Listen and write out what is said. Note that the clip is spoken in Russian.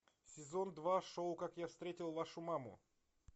сезон два шоу как я встретил вашу маму